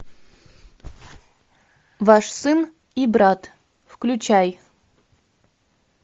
ваш сын и брат включай